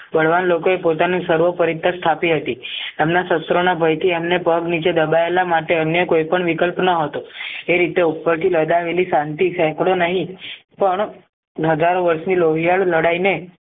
બળવાન લોકોએ પોતાનું સર્વોપરી પદ સ્થાપી હતી એમના શસ્ત્રોના બયથી એમને પગ નીચે દબાયેલા માટે કોઈ પણ વિકલ્પ ન હતો એ રીતે ઉપરથી લગાવેલી શાંતિ સેંકડો નહીં પણ લગાડ વયથી લોહિયાળ લડાયને